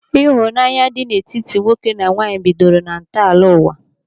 Ịhụnanya dị n'etiti nwoke na nwaanyị bidoro na ntọala ụwa.